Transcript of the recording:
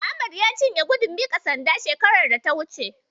Ahmad ya cinye gudun miƙa sanda shekarar da ta wuce.